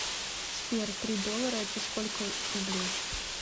сбер три доллара это сколько рублей